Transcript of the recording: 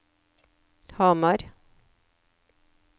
Hamar